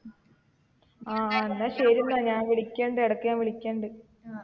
ആ ആ എന്ന ശെരി എന്ന ഞാൻ വിളിക്ക ഇടക്ക് ഞാൻ വിളിക്ക.